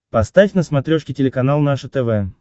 поставь на смотрешке телеканал наше тв